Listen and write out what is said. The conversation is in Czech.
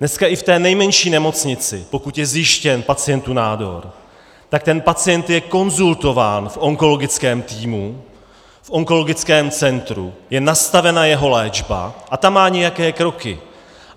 Dneska i v té nejmenší nemocnici, pokud je zjištěn pacientovi nádor, tak ten pacient je konzultován v onkologickém týmu v onkologickém centru, je nastavena jeho léčba a ta má nějaké kroky.